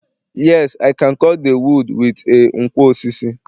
yes, I can cut the wood with a nkwo osisi